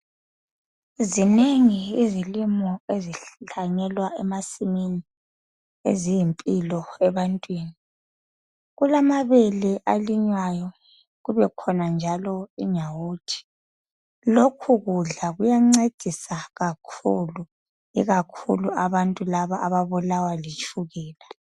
Zinengi izilimo ezihlanyelwa emasimini eziyimpilo ebantwini kulamabele alinywayo kubekhona njalo inyawuthi lokhu kudla kuyancedisa kakhulu ikakhulu abantu laba ababulawa litshukela